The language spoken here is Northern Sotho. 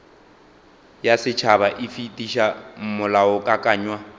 ya setšhaba e fetiša molaokakanywa